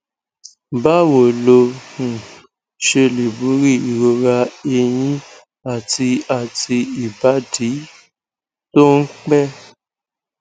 báwo lo um ṣe lè borí ìrora ẹyìn àti àti ibadi tó ń pẹ